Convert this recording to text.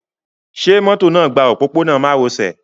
Ṣẹ mọ́tò náà gba òpópónà mároṣẹ̀?